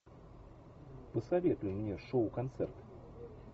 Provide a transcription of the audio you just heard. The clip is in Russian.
посоветуй мне шоу концерт